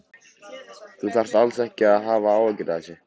Þú þarft alls ekki að hafa áhyggjur af þessu.